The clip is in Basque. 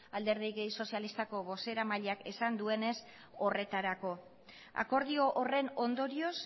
alderdi sozialistako bozeramaileak esan duenez horretarako akordio horren ondorioz